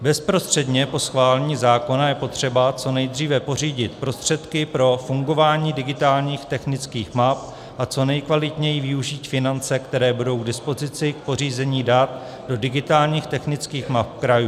Bezprostředně po schválení zákona je potřeba co nejdříve pořídit prostředky pro fungování digitálních technických map a co nejkvalitněji využít finance, které budou k dispozici k pořízení dat do digitálních technických map krajů.